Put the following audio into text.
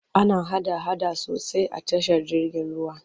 Ana hada-hada sosai tashar jirgin ruwa.